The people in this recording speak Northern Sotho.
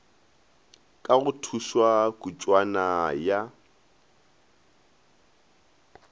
ka go thušwa kutšwana ya